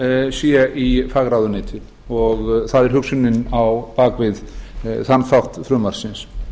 sé í fagráðuneyti og það er hugsunin á bak við þann þátt frumvarpsins